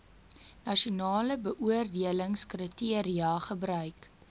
nasionale beoordelingskriteria gebruik